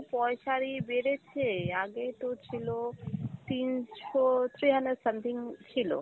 পয়সার ই বেড়েছে, আগে তো ছিল তিনশো three hundred something ছিল